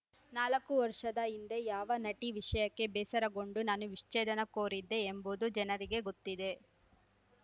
ನಾಲ್ಕು ವರ್ಷದ ಹಿಂದೆ ಯಾವ ನಟಿ ವಿಷಯಕ್ಕೆ ಬೇಸರಗೊಂಡು ನಾನು ವಿಚ್ಛೇದನ ಕೋರಿದ್ದೆ ಎಂಬುದು ಜನರಿಗೆ ಗೊತ್ತಿದೆ